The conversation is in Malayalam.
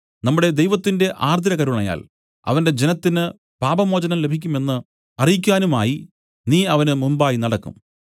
നമ്മുടെ ദൈവത്തിന്റെ ആർദ്രകരുണയാൽ അവന്റെ ജനത്തിന് പാപമോചനം ലഭിക്കുമെന്ന് അറിയിക്കാനുമായി നീ അവന് മുമ്പായി നടക്കും